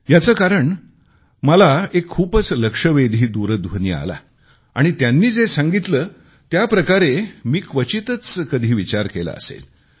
याचे कारण मला एक खूपच लक्षवेधी दूरध्वनी आला आणि त्यांनी जे सांगितले त्याप्रकारे मी क्वचितच कधी विचार केला असेल